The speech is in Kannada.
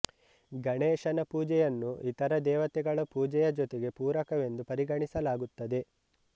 ಗಣೇಶನ ಪೂಜೆಯನ್ನು ಇತರ ದೇವತೆಗಳ ಪೂಜೆಯ ಜೊತೆಗೆ ಪೂರಕವೆಂದು ಪರಿಗಣಿಸಲಾಗುತ್ತದೆ